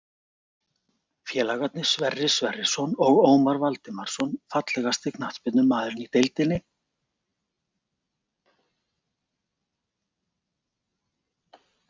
Félagarnir Sverrir Sverrisson og Ómar Valdimarsson Fallegasti knattspyrnumaðurinn í deildinni?